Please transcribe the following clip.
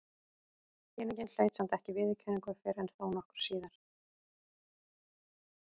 Skýringin hlaut samt ekki viðurkenningu fyrr en þó nokkru síðar.